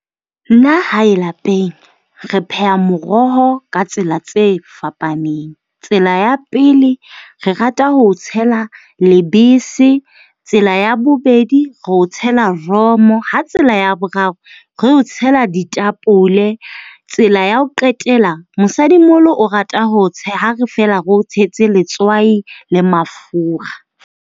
Nna hae lapeng, re pheha moroho ka tsela tse fapaneng. Tsela ya pele, re rata ho o tshela lebese. Tsela ya bobedi, re o tshela romo. Ha tsela ya boraro re o tshela ditapole. Tsela ya ho qetela, mosadimoholo o rata ho tshela, ha fela re o tshetse letswai le mafura.